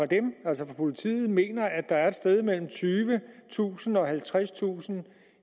dem altså fra politiet mener at der er et sted mellem tyvetusind og halvtredstusind